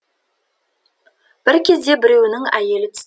бір кезде біреуінің әйелі түс